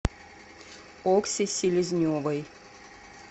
окси селезневой